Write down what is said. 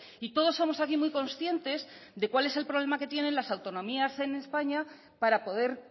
y todos somos aquí muy conscientes de cuál es el problema que tienen las autonomías en españa para poder